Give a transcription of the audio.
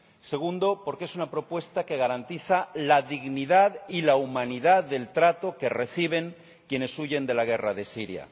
segundo, porque es una propuesta que garantiza la dignidad y la humanidad del trato que reciben quienes huyen de la guerra de Siria